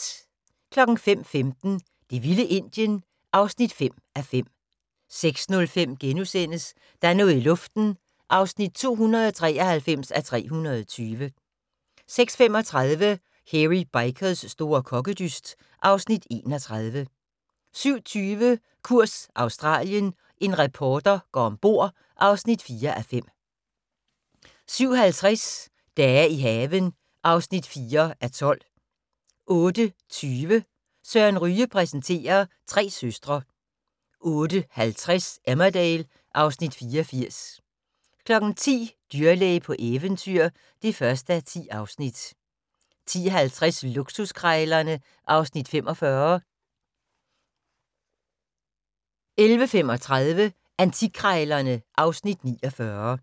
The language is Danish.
05:15: Det vilde Indien (5:5) 06:05: Der er noget i luften (293:320)* 06:35: Hairy Bikers' store kokkedyst (Afs. 31) 07:20: Kurs Australien - en reporter går om bord (4:5) 07:50: Dage i haven (4:12) 08:20: Søren Ryge præsenterer: Tre søstre 08:50: Emmerdale (Afs. 84) 10:00: Dyrlæge på eventyr (1:10) 10:50: Luksuskrejlerne (Afs. 45) 11:35: Antikkrejlerne (Afs. 49)